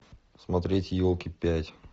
смотреть елки пять